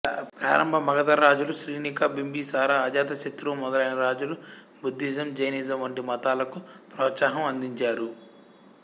ప్రారంభ మగధ రాజులు శ్రీనికా బింబిసారా అజాతశత్రు మొదలైన రాజులు బుద్ధిజం జైనిజం వంటి మతాలకు ప్రోత్సాహం అందించారు